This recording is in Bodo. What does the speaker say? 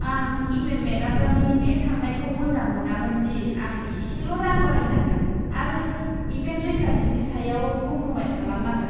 आं इभेन्ट मेनेजारनि बे साननायखौ मोजां मोनामोन दि आं एसेल' रां बाहायनांगोन आरो इभेन्ट रैखाथिनि सायाव कमप्रमाइस खालामनांगोन।